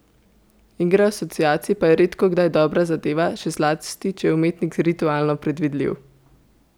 Igra asociacij pa je redkokdaj dobra zadeva, še zlasti če je umetnik ritualno predvidljiv.